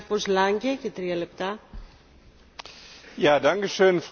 Frau Präsidentin, Herr Kommissar, liebe Kolleginnen und Kollegen!